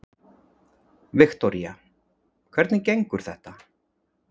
Viktoría: Hvernig gengur þetta?